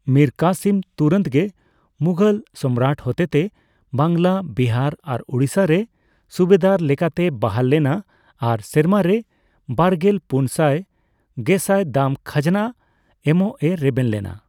ᱢᱤᱨ ᱠᱟᱥᱤᱢ ᱛᱩᱨᱟᱹᱛᱜᱮ ᱢᱩᱜᱷᱚᱞ ᱥᱚᱢᱨᱟᱴ ᱦᱚᱛᱮᱛᱮ ᱵᱟᱝᱞᱟ, ᱵᱤᱦᱟᱨ ᱟᱨ ᱳᱲᱤᱥᱟᱨᱮ ᱥᱩᱵᱮᱫᱟᱨ ᱞᱮᱠᱟᱛᱮᱭ ᱵᱚᱦᱟᱞ ᱞᱮᱱᱟ ᱟᱨ ᱥᱮᱨᱢᱟ ᱨᱮ ᱵᱟᱨᱜᱮᱞ ᱯᱩᱱ ᱥᱟᱭ ᱜᱮᱥᱟᱭ ᱫᱟᱢ ᱠᱷᱟᱡᱽᱱᱟ ᱮᱢᱚᱜᱼᱮ ᱨᱮᱵᱮᱱ ᱞᱮᱱᱟ᱾